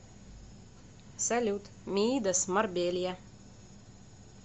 салют миидас марбелья